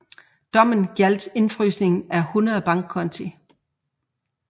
Dommen galdt indfrysningen af 10 bankkonti